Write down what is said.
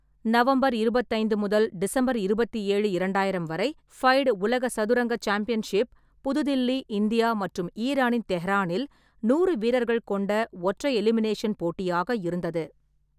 November இருபத்தைந்து முதல் December இருபத்தி ஏழு, இரண்டாயிரம் வரை, ஃபைட் உலக சதுரங்க சாம்பியன்ஷிப் புது தில்லி, இந்தியா மற்றும் ஈரானின் தெஹ்ரானில் நூறு வீரர்கள் கொண்ட ஒற்றை எலிமினேஷன் போட்டியாக இருந்தது.